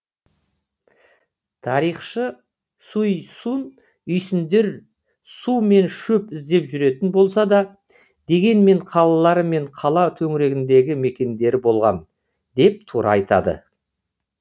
тарихшы суй сун үйсіндер су мен шөп іздеп жүретін болса да дегенмен қалалары мен қала төңірегіндегі мекендері болған деп тура айтады